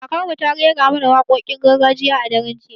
Kakar mu ta raira mana wakokin gargajiya a daren jiya